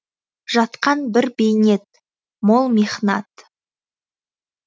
жатқан бір бейнет мол михнат